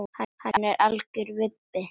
Hann er algjör vibbi.